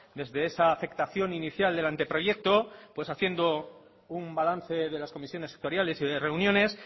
desde esa afectación inicial del anteproyecto pues haciendo un balance de las comisiones sectoriales y de reuniones